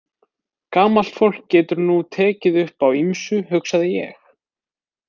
Gamalt fólk getur nú tekið upp á ýmsu, hugsaði ég.